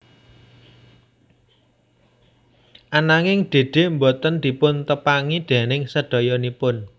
Ananging Dede boten dipun tepangi déning sedayanipun